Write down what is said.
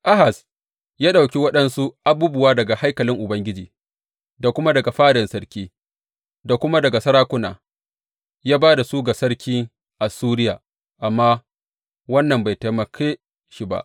Ahaz ya ɗauki waɗansu abubuwa daga haikalin Ubangiji da kuma daga fadan sarki da kuma daga sarakuna, ya ba da su ga sarkin Assuriya, amma wannan bai taimake shi ba.